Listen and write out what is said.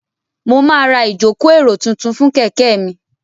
Mo máa ra ìjòkó èrò tuntun fún kẹ̀kẹ́ mi